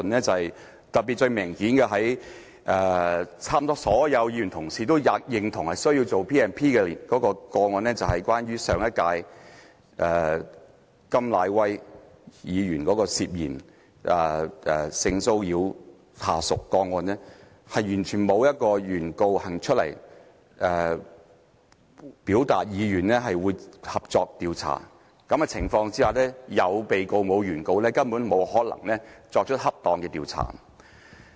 最明顯的例子是，差不多所有議員都認同有需要引用《條例》的個案，就是關於上屆甘乃威議員涉嫌性騷擾下屬的個案，但是完全沒有原告走出來表達意願會合作調查，在有被告而沒有原告的情況下，根本沒有可能作出恰當的調查。